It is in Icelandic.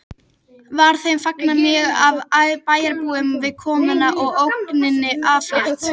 Var þeim fagnað mjög af bæjarbúum við komuna og ógninni aflétt